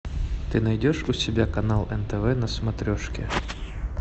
ты найдешь у себя канал нтв на смотрешке